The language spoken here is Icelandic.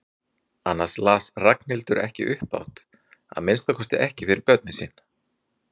Annars las Ragnhildur ekki upphátt, að minnsta kosti ekki fyrir börnin sín.